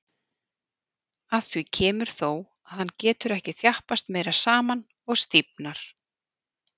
Að því kemur þó, að hann getur ekki þjappast meira saman og stífnar.